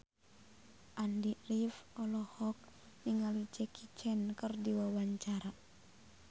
Andy rif olohok ningali Jackie Chan keur diwawancara